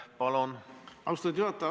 Austatud juhataja!